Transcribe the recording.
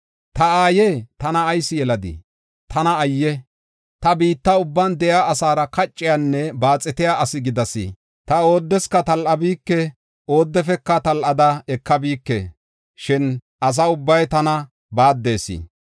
Ta aaye, tana ayis yeladii? Tana ayye! Ta biitta ubban de7iya asaara kacciyanne baaxetiya asi gidas. Ta oodeska tal7abike; oodefeka tal7ada ekabike; shin asa ubbay tana baaddees.